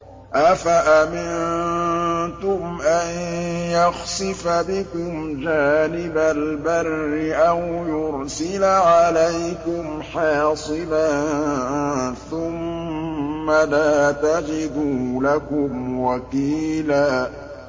أَفَأَمِنتُمْ أَن يَخْسِفَ بِكُمْ جَانِبَ الْبَرِّ أَوْ يُرْسِلَ عَلَيْكُمْ حَاصِبًا ثُمَّ لَا تَجِدُوا لَكُمْ وَكِيلًا